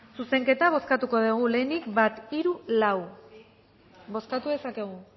zuzenketa bozkatuko dugu lehenik bat hiru lau bozkatu dezakegu